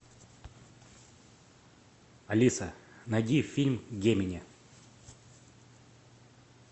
алиса найди фильм гемини